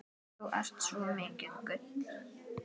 Þú ert svo mikið gull.